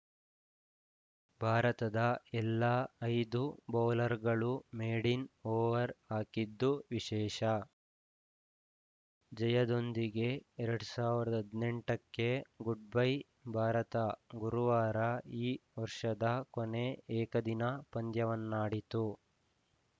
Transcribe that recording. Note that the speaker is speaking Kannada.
ಭಾರತದ ಎಲ್ಲಾ ಐದು ಬೌಲರ್‌ಗಳು ಮೇಡಿನ್‌ ಓವರ್‌ ಹಾಕಿದ್ದು ವಿಶೇಷ ಜಯದೊಂದಿಗೆ ಎರಡ್ ಸಾವಿರದ ಹದಿನೆಂಟಕ್ಕೆ ಗುಡ್‌ಬೈ ಭಾರತ ಗುರುವಾರ ಈ ವರ್ಷದ ಕೊನೆ ಏಕದಿನ ಪಂದ್ಯವನ್ನಾಡಿತು